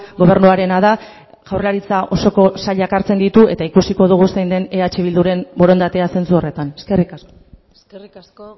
gobernuarena da jaurlaritza osoko sailak hartzen ditu eta ikusiko dugu zein den eh bilduren borondatea zentzu horretan eskerrik asko eskerrik asko